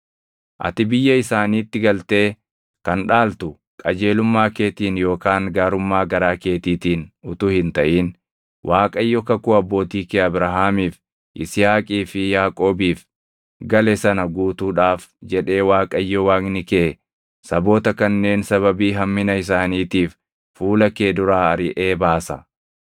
Ati biyya isaaniitti galtee kan dhaaltu qajeelummaa keetiin yookaan gaarummaa garaa keetiitiin utuu hin taʼin Waaqayyo kakuu abbootii kee Abrahaamiif, Yisihaaqii fi Yaaqoobiif gale sana guutuudhaaf jedhee Waaqayyo Waaqni kee saboota kanneen sababii hammina isaaniitiif fuula kee duraa ariʼee baasa.